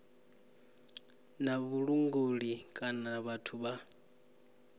na vhulanguli kana vhathu vha